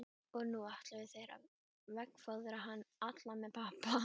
Og nú ætluðu þeir að veggfóðra hann allan með pappa.